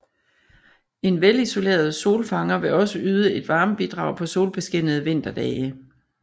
En velisoleret solfanger vil også yde et varmebidrag på solbeskinnede vinterdage